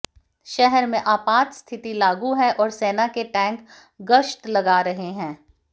शहर में आपात स्थिति लागू है और सेना के टैंक गश्त लगा रहे हैं